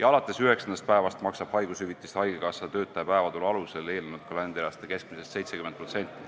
ja alates üheksandast päevast maksab haigushüvitist haigekassa töötaja päevatulu alusel eelnenud kalendriaasta keskmisest 70%.